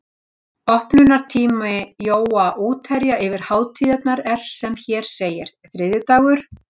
Opnunartími Jóa útherja yfir hátíðirnar er sem hér segir: þriðjudagur